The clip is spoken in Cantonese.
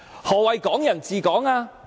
何謂'港人治港'？